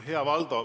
Hea Valdo!